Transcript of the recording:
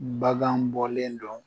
Bagan bɔlen dɔn